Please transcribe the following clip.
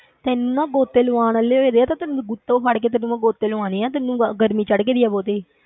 ਤੈਨੂੰ ਨਾ ਗੋਤੇ ਲਵਾਉਣ ਵਾਲੇ ਹੋ ਜਾਂਦੇ ਆ ਤੇ ਤੈਨੂੰ ਗੁੱਤੋਂ ਫੜਕੇ ਤੈਨੂੰ ਮੈਨੂੰ ਗੋਤੇ ਲਵਾਉਣੇ ਹੈ ਤੈਨੂੰ ਗਰਮੀ ਚੜ੍ਹ ਗਈ ਹੈ ਬਹੁਤੀ।